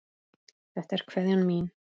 Þetta er kveðjan mín.